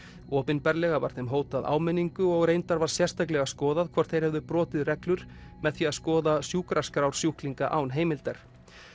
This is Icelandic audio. opinberlega var þeim hótað áminningu og reyndar var sérstaklega skoðað hvort þeir hefðu brotið reglur með því að skoða sjúkraskrár sjúklinga án heimildar